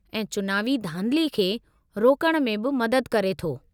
ऐं चुनावी धांधली खे रोकणु में बि मददु करे थो।